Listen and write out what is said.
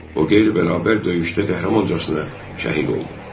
O qeyri-bərabər döyüşdə qəhrəmancasına şəhid oldu.